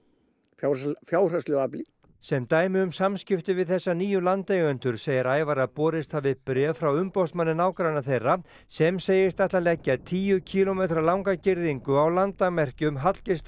fjárhagslegu fjárhagslegu afli sem dæmi um samskipti við þessa nýju landeigendur segir Ævar að borist hafi bréf frá umboðsmanni nágranna þeirra sem segist ætla að leggja tíu kílómetra langa girðingu á landamerkjum